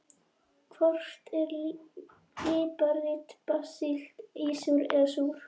Hvort er líparít basísk, ísúr eða súr?